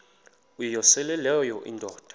uyosele leyo indoda